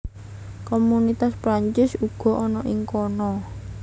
Komunitas Perancis uga ana ing kana